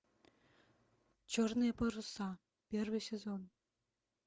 черные паруса первый сезон